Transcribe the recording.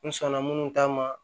N sɔnna minnu ta ma